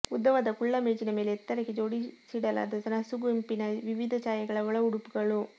ಉದ್ದವಾದ ಕುಳ್ಳಮೇಜಿನ ಮೇಲೆ ಎತ್ತರಕ್ಕೆ ಜೋಡಿಸಿಡಲಾದ ನಸುಗೆಂಪಿನ ವಿವಿಧ ಛಾಯೆಗಳ ಒಳಉಡುಪುಗಳು